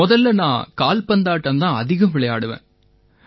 முதல்ல நான் கால்பந்தாட்டம் தான் அதிகம் விளையாடுவேன்